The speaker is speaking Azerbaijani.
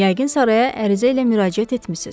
Yəqin saraya ərizə ilə müraciət etmisiz.